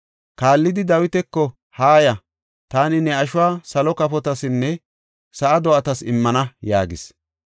Kaallidi Dawitako, “Haaya; taani ne ashuwa salo kafotasinne sa7a do7atas immana” yaagis.